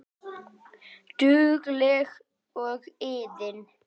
Dugleg og iðin.